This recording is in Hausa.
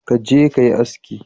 Ka je ka yi aski